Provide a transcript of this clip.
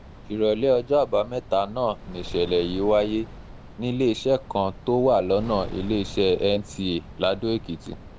ìrọ̀lẹ́ ọjọ́ àbámẹ́ta náà nìṣẹ̀lẹ̀ yìí wáyé níléeṣẹ́ kan tó wà lọ́nà iléeṣẹ́ nta ladoekìtì